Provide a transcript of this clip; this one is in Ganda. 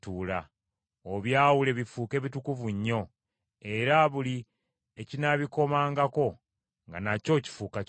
Obyawule bifuuke bitukuvu nnyo, era buli ekinaabikomangako nga nakyo kifuuka kitukuvu.